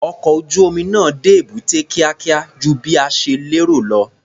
Ọkọ̀ ojú-omi náà dé èbúté kíákíá ju bí a ṣe lérò lọ.